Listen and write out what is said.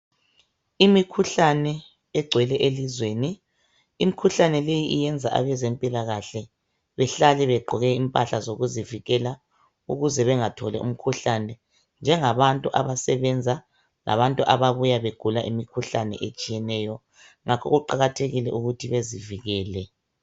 Imikhuhlane egcwele elizweni. Imikhuhlane leyi iyenza abezempilakahle behlale begqoke impahla zokuzivikela ukuze bengatholi imikhuhlane njengabantu abasebenza labantu ababuya begula imikhuhlane etshiyeneyo ngakho kuqakathekile ukuthi bezivikele.